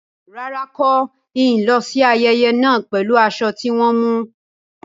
Rárá, ń kó ni lọ síí ayẹyẹ náà pẹ̀lú aṣọ tí wọn mú.